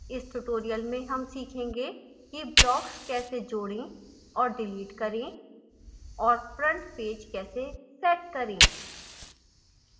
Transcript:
इस tutorial में हम सीखेंगे कि: blocks कैसे जोडें और डिलीट करें और front page कैसे set करें